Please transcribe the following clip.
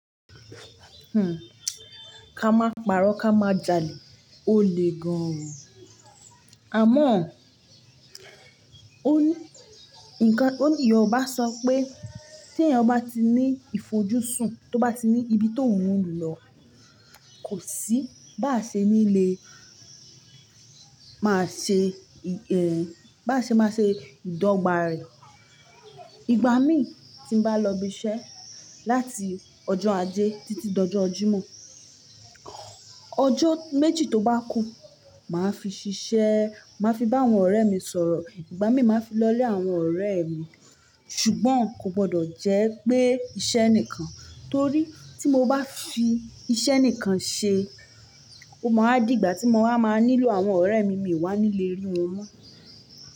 Hmm, ká máa pàrọ̀ ká máa jalè, ó le gan. Àmọ́ ọ̀, ó ní nǹkan, ó ní yòòbá sọ pé tí èèyàn bá ti ní ìfojúsùn, tóbá ti ní ibi tó un ń lu lọ, kò sí, báa ṣe níle, máa ṣe, ẹ̀n, báa ṣe máa ṣe ìdọ́gba rẹ̀. Ìgbà míìn tí n bá lọ ibi iṣẹ́ láti ọjọ́ ajé títí dọjọ́ ọ Jímọ̀, ọjọ́ méjì tó bá kù, màá fi ṣiṣẹ́, màá fi bá àwọn ọ̀rẹ́ mi sọ̀rọ̀, ìgbà mí màá fi lọlé àwọn ọ̀rẹ́ mi, ṣùgbọ́n kò gbọdọ̀ jẹ́ pé iṣẹ́ nìkan, torí tí mo bá fi iṣẹ́ nìkan ṣe, o máa wá d'ìgbà tí mo wá máa nílò àwọn ọ̀rẹ́ mi, miì wá ní le rí wọn mọ́.